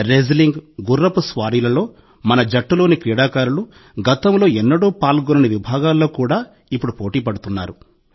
wrestling గుర్రపు స్వారీలలో మన జట్టులోని క్రీడాకారులు గతంలో ఎన్నడూ పాల్గొనని విభాగాల్లో కూడా ఇప్పుడు పోటీపడుతున్నారు